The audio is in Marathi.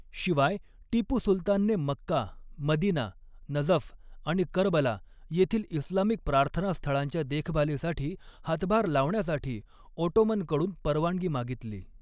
शिवाय, टिपू सुलतानने मक्का, मदिना, नजफ आणि करबला येथील इस्लामिक प्रार्थनास्थळांच्या देखभालीसाठी हातभार लावण्यासाठी ओटोमनकडून परवानगी मागितली.